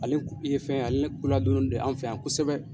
Ale ye fɛn ye ale koladɔnnen do an fɛ yan kosɛbɛ.